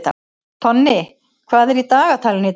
Tonni, hvað er í dagatalinu í dag?